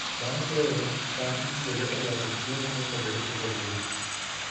Bang' keyo, cham itiyogo e loso chiemo mopogore opogore.